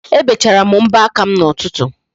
Ebechara m mbọ aka m n'ụtụtụ